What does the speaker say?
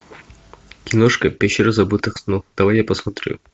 киношка пещера забытых снов давай я посмотрю